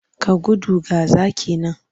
Ka gudu! ga zaki nan.